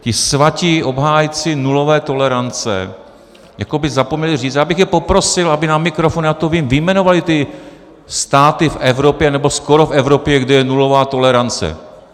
Ti svatí obhájci nulové tolerance jako by zapomněli říci - já bych je poprosil, aby na mikrofon, já to vím, vyjmenovali ty státy v Evropě, nebo skoro v Evropě, kde je nulová tolerance.